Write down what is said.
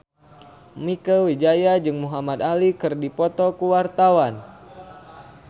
Mieke Wijaya jeung Muhamad Ali keur dipoto ku wartawan